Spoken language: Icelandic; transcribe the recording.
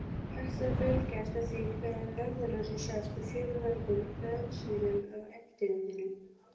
Hægt er að fylgjast með því hvenær norðurljósin sjást á fjölmörgum vefsíðum á Internetinu.